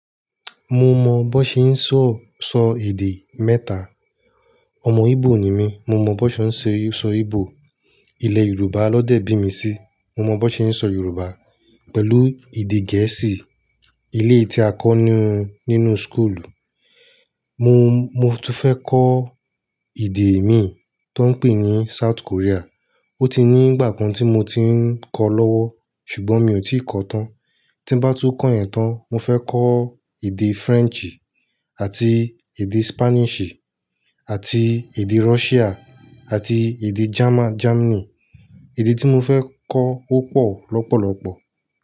Mo mọ bó ṣe ń sọ, sọ èdè mẹ́ta. Ọmọ Igbo ni mí, mo mọ bó ṣe ń sọ Igbo. Ilẹ̀ Yorùbá lọ́dẹ́ bí mi sí, mo mọ bó ṣe ń sọ Yorùbá. Pẹ̀lú èdè Gẹ̀ẹ́sì, ilé tí a kọ́ ní, nínú school. Mo, mo tún fẹ́ kọ́ èdè mí tó ń pè ní South Korea. Ó ti ní ìgbà kan tí mo ti ń kọ lọ́wọ́ ṣùgbọ́n mi ò tí kọ tán. Tí bá tú kọ ẹ́ tán, mo fẹ́ kọ́ èdè Frenchì àti èdè Spanishì àti èdè Russia àti èdè German, Germany. Èdè tí mo fẹ́ kọ́ ó pọ̀ lọ́pọ̀lọ́pọ̀.